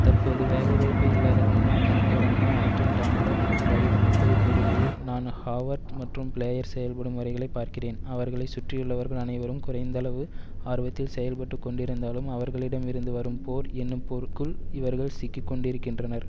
தற்போது வேலைவாய்ப்பு இல்லாத முன்னாள் மாணவரான அட்ரின் டான்லப் வயது முப்பது கூறுகையில் நான் ஹாவார்ட் மற்றும் பிளேயர் செயல்படும் முறைகளை பார்க்கிறேன் அவர்களை சுற்றியுள்ளவர்கள் அனைவரும் குறைந்தளவு ஆர்வத்தில் செயல்பட்டு கொண்டிருந்தாலும் அவர்களிடமிருந்து வரும் போர் என்னும் பொறுக்குள் இவர்கள் சிக்கி கொண்டிருக்கின்றனர்